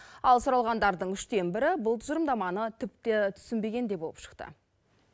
ал сұралғандардың үштен бірі бұл тұжырымдаманы тіпті түсінбеген де болып шықты